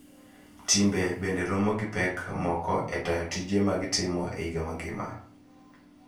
Timbe bende romo gi pek moko e tayo tije ma gitimo e higa mangima.